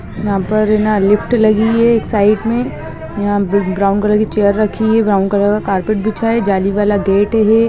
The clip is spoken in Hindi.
यहा परलिफ्ट लगी है साइड मे यहा ब्राउन कलर की चेयर रखी है ब्राउन कलर का कार्पट बिछा है जाली वाला गेट है।